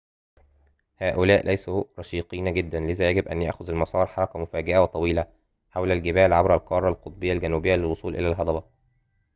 هؤلاء ليسوا رشيقين جدًا لذا يجب أن يأخذ المسار حركة مفاجئة وطويلة حول الجبال عبر القارة القطبية الجنوبية للوصول إلى الهضبة